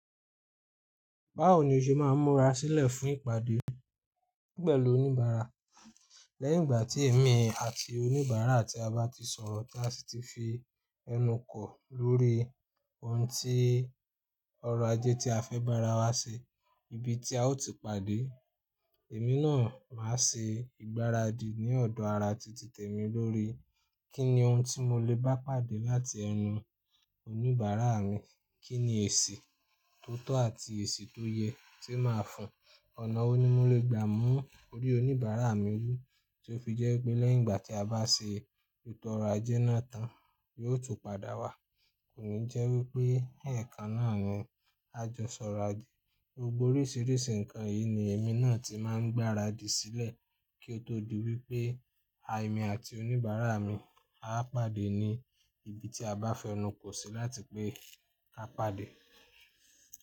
Báwo ni o ṣe máa ń múra sílẹ̀ fún ìpàdé pẹ̀lú oníbàárà? Lẹ́yìn ìgbà tí èmi àti oníbàárà tí a bá ti sọ̀rọ̀ tí a sì ti fi ẹnu kọ̀ lórí ohun ti ọrọ̀ ajé tí a fẹ́ bá ara wa ṣe, ibi tí a ó ti pàdé, èmi náà máa ṣe ìgbáradì ní ọ̀dọ̀ ara ti tètè mi lórí kí ni ohùn tí mo lè bá pàdé láti ẹnu oníbàárà mi, kí ni èsì tó tọ́ àti èsì tó yẹ tí màá fún, ọ̀nà wo ni mo lè gbà mú orí oníbàárà mi wù tí ó fi jẹ́ pé lẹ́yìn ìgbà tí a bá ṣe ètò ọrọ̀ ajé náà tán, yóò tún padà wá. Kò ní jẹ́ wí pé, ẹ̀ẹ̀kan náà ni á jọ sọ̀rọ̀ ajé. Gbogbo oríṣìíríṣìí ǹkan yìí ni èmi náà ti máa ń gbáradì sílẹ̀ kí ó tó di wípé é mi àti oníbàárà mi á pàdé ní ibi tí a bá fẹnukò sí láti pé ká pàdé.